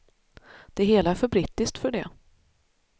Det hela är för brittiskt för det.